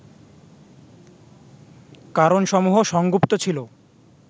কারণসমূহ সংগুপ্ত ছিল